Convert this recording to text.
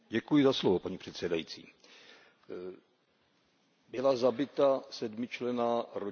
Paní předsedající, byla zabita sedmičlenná rodina.